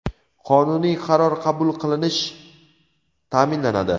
qonuniy qaror qabul qilinish ta’minlanadi.